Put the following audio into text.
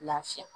Lafiya